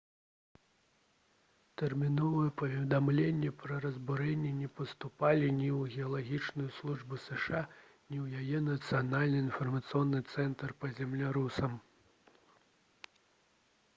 тэрміновыя паведамленні пра разбурэнні не паступалі ні ў геалагічную службу зша ні ў яе нацыянальны інфармацыйны цэнтр па землятрусах